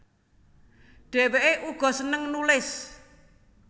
Dhèwèké uga sênêng nulis